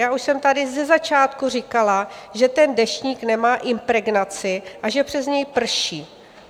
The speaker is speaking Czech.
Já už jsem tady ze začátku říkala, že ten deštník nemá impregnaci a že přes něj prší.